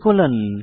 enter টিপুন